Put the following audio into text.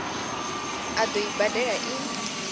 a ḓo i badela i